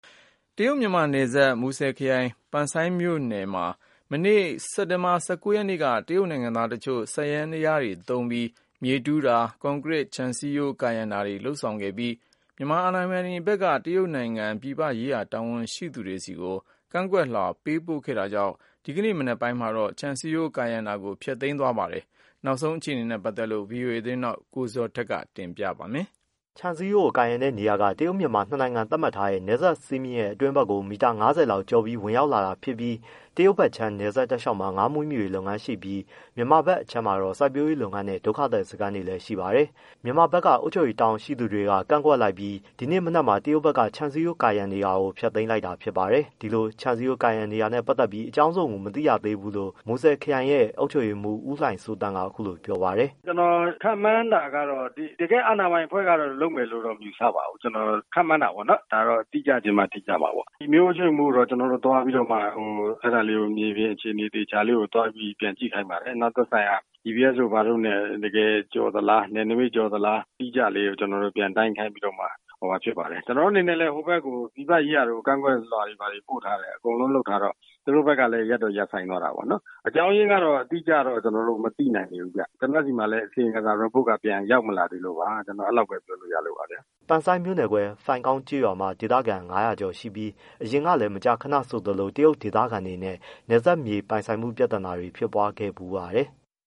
တရုတ်မြန်မာနယ်စပ် မူဆယ်ခရိုင်၊ ပန်ဆိုင်းမြို့နယ် ထဲမှာမနေ့က စက်တင်ဘာ၁၉ရက်က တရုတ်နိုင်ငံသားတချို့ စက်ယန္တယားတွေနဲ့ မြေတူးဖော်၊ကွန်ကရစ်ခြံစည်းရိုးကာ တာတွေလုပ်ဆောင်ခဲ့ပြီး မြန်မာအာဏာပိုင်ဘက်က တရုတ်နိုင်ငံပြည်ပရေးရာတာဝန်ရှိသူတွေဆီကို ကန့်ကွက်လွှာပေးပို့ခဲ့တာကြောင့် ဒီနေ့စက်တင်ဘာ၂၀မနက်ပိုင်းမှာ ခြံစည်းရိုးကာရံတာကို ပြန်ဖျက်သိမ်းသွားပါတယ်။ ဒီအကြောင်းဗွီအိုအေ မြန်မာပိုင်းသတင်းထောက်ကိုဇော်ထက် ပေးပို့ထားပါတယ်။ ခြံစည်ရိုး ကာရံတဲ့နေရာက တရုတ်-မြန်မာ နှစ်နိုင်ငံသတ်မှတ်ထားတဲ့ နယ်စပ်စည်းမျဉ်းရဲ့အတွင်းဘက်ကို မီတာ၅၀လောက်ကို ကျော်ပြီးဝင်ရောက်လာတာဖြစ်ပြီး တရုတ်ဘက်ခြမ်းနယ်စပ်တလျှောက်မှ ာငါးမွေးမြူရေးလုပ်ငန်းရှိပြီး မြန်မာဘက်ခြမ်းမှာတော့စိုက်ပျိုးရေးလုပ်ငန်းနဲ့ဒုက္ခသည်စခန်းတွေလည်း ရှိပါတယ်။ မြန်မာဘက်က အုပ်ချုပ်ရေးတာဝန်ရှိသူတွေက ကန့်ကွက်လိုက်ပြီး ဒီနေ့မနက်မှာတရုတ်ဘက်က ခြံစည်းရိုးကာရံနေတာတွေကို ပြန်ဖျက်သိမ် းလိုက်ပါတယ်။ ဒီလို ခြံစည်းရိုးဝင်ကာတာနဲ့ပတ်သတ်ပြီးအကြောင်းစုံ ကိုတော့မသိရသေးဘူးလို့ မူဆယ်ခရိုင်ရဲ့အုပ်ချုပ်ရေးမှူးဦးလှိုင်စိုးသန့်က အခုလိုပြောပါတယ်။ “ကျွန်တော်ခန့်မှန်းတာကတော့ တကယ့်အာဏာပိုင်အဖွဲ့က လုပ်မယ်လို့တော့မယူဆပါဘူး။ ကျွန်တော်ခန့်မှန်းတာပေါ့နော် ဒါကတော့တိကျချင်မှတိကျမှာပေါ့။ မြို့အုပ်ချုပ်ရေးမှူးကို ကျွန်တော်တို့သွားပြီးတော့မှအဲဒါလေး မြေပြင်အခြေအနေလေး သွားပြီးပြန်ကြည့်ခိုင်းပါတယ်။ နောက်သက်ဆိုင်ရာGPS တို့ဘာတို့နဲ့တကယ်ကျော်သလားနယ်နမိတ်ကျော်သလား၊ အတိအကျလေးကို ကျွန်တော်တို့ပြန်တိုင်းခိုင်းပြီးတော့မှ ဟိုဟာဖြစ်ပါတယ်။ကျွန်တော်တို့အနေနဲ့လည်း ဟိုဘက်ကို ပြည်ပရေးရာဘက်ကို ကန့်ကွက်လွှာတွေဘာတွေပို့ထားတော့ အကုန်လုံးလုပ်ထားတော့ သူတို့ဘက်ကလည်း ရပ်တော့ရပ်ဆိုင်းသွားတာပေါ့။ အကြောင်းအရင်းကတော့ အတိအကျတော့ ကျွန်တော်တို့မသိနိုင်သေးဘူးဗျ။ကျွန်တော့်ဆီမှာလည်း အစီရင်ခံစာ reportက ရောက်မလာသေးလို့ပါ။ကျွန်တော်အဲဒီလောက်ပဲ ပြောလို့ရလို့ပါ။” ပန်ဆိုင်းမြို့နယ်ခွဲဖိုင်ကောင်းကျေးရွာမှာ ဒေသခံ၅၀၀ကျော်ရှိပြီး အရင်ကလည်း မကြာခဏဆိုသလို တရုတ်ဒေသခံတွေနဲ့ နယ်စပ်မြေပိုင်ဆိုင်မှု ပြဿနာတွေဖြစ်ပွားခဲ့ဖူးပါတယ်။